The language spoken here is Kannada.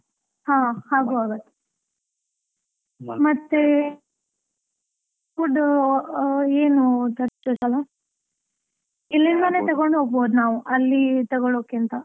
ಹಾ ಹಾಗೂ ಆಗತ್ತೆ, ಮತ್ತೆ food ಏನು ತರ್ತಿಯಾ, ಈ ಸಲಾ ಇಲ್ಲಿಂದಲೇ ತಗೊಂಡು ಹೊಗಬೋದು ನಾವು, ಅಲ್ಲಿ ತಗೊಳೋಕ್ಕಿಂತಾ.